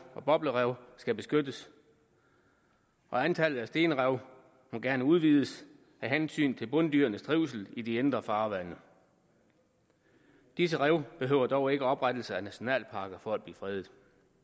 og boblerev skal beskyttes og antallet af stenrev må gerne udvides af hensyn til bunddyrenes trivsel i de indre farvande disse rev behøver dog ikke oprettelse af nationalparker for at blive fredet